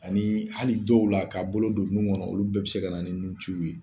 Ani hali dɔw la ka bolo don nun kɔnɔ olu bɛɛ be se ka na ni nun ci ye.